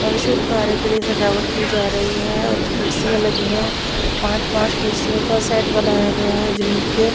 शुभ कार्य के लिए सजावट की जा रही है और कुर्सियां लगी है पांच-पांच कुर्सियों का सेट बनाया गया है जिनके--